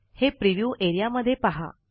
हे प्रिव्ह्यू एरियामध्ये पहा